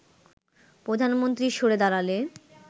প্রধানমন্ত্রী সরে দাঁড়ালে